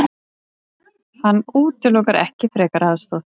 Hann útilokar ekki frekari aðstoð.